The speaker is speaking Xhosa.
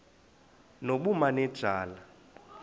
nobumanejala